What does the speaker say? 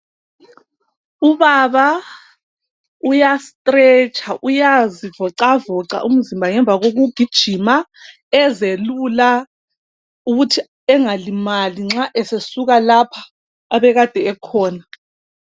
ubaba uya stiletsha uyazivocavoca umzimba ngemva koku gijima ezelula ukuthi engalimali nxa esesuka lapha abekade ekhona